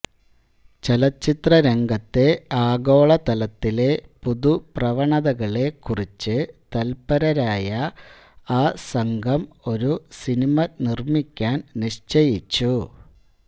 ചലച്ചിത്രരംഗത്തെ ആഗോളതലത്തിലെ പുതുപ്രവണതകളെക്കുറിച്ച് തല്പരരായ ആ സംഘം ഒരു സിനിമ നിർമ്മിക്കാൻ നിശ്ചയിച്ചു